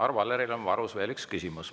Arvo Alleril on varus veel üks küsimus.